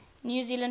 new zealand forces